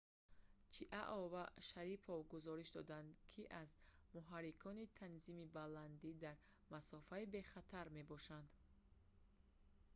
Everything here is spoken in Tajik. чиао ва шарипов гузориш доданд ки аз муҳаррикони танзими баландӣ дар масофаи бехатар мебошанд